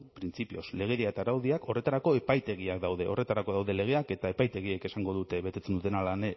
printzipioz legedia eta araudiak horretarako epaitegiak daude horretarako daude legeak eta epaitegiek esango dute betetzen duten